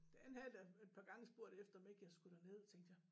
Han havde da et par gange spurgt efter om ikke jeg skulle derned tænkte jeg